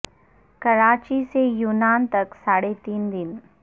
کراچی سے یونان تک ساڑھے تین دن